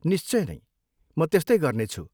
निश्चय नै म त्यस्तै गर्नेछु।